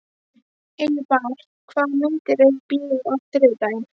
Eyvar, hvaða myndir eru í bíó á þriðjudaginn?